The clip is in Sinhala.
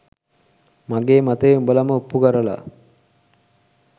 මගේ මතය උඹලම ඔප්පු කරල